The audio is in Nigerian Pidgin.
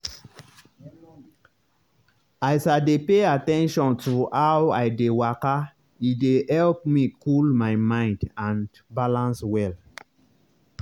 as i dey pay at ten tion to how i dey waka e dey help me cool my mind and balance well.